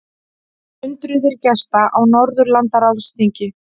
Hundruðir gesta á Norðurlandaráðsþingi